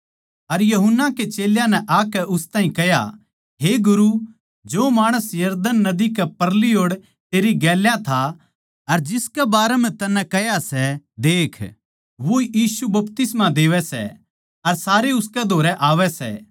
अर यूहन्ना कै चेल्यां नै आकै उस ताहीं कह्या हे गुरु जो माणस यरदन नदी कै परली ओड़ तेरी गेल्या था अर जिसके बारें म्ह तन्नै कह्या सै देख वो बपतिस्मा देवै सै अर सारे उसकै धोरै आवै सै